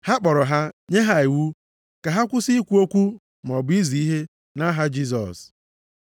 Ha kpọrọ ha nye ha iwu ka ha kwụsị ikwu okwu maọbụ izi ihe nʼaha Jisọs.